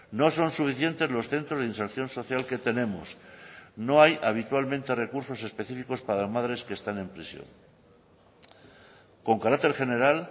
no son suficientes los centros de inserción social que tenemos no hay habitualmente recursos específicos para madres que están en prisión con carácter general